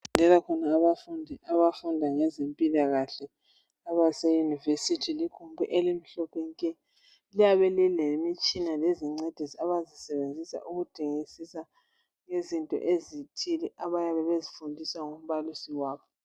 Okufundela khona abafundi abafunda ngezempilakahle abase university. Ikhukhu elimhlophe nke .Liyabe lilemitshina lezincediso abazisebenzisa ukudingisisa izinto ezithile abayabe bezifundiswa ngumbalisi wabo .